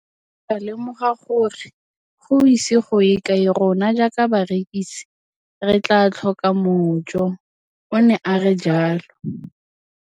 Ke ne ka lemoga gore go ise go ye kae rona jaaka barekise re tla tlhoka mojo, o ne a re jalo.